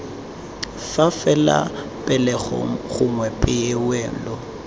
fa fela pegelo gongwe poelo